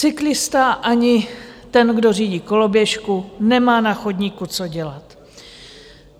Cyklista ani ten, kdo řídí koloběžku, nemá na chodníku co dělat.